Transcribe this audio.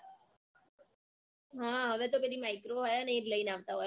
હા હવે તો બધી micro હોય ને એ જ લઈને આવતાં હોય અમાર તો બધાં